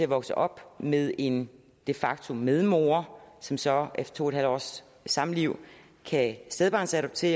vokset op med en de facto medmor som så efter to en halv års samliv kan stedbarnsadoptere